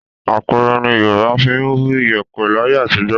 Apẹ̀rẹ̀ ni Yorùbá fi ń bu iyẹ̀pẹ̀ láyé àtijọ́